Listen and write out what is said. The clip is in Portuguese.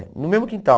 No mesmo quintal.